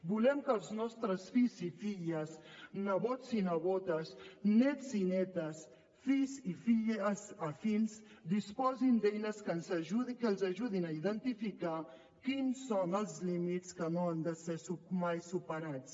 volem que els nostres fills i filles nebots i nebodes nets i netes fills i filles afins disposin d’eines que els ajudin a identificar quins són els límits que no han de ser mai superats